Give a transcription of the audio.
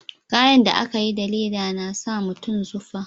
Kayan da a ka yi da leda na sa mutum zufa